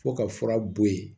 Fo ka fura bɔ yen